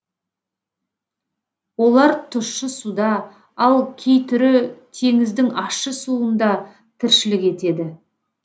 олар тұщы суда ал кей түрі теңіздің ащы суында тіршілік етеді